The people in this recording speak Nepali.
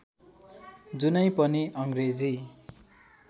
जुनै पनि अङ्ग्रेजी